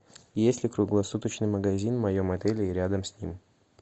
есть ли круглосуточный магазин в моем отеле и рядом с ним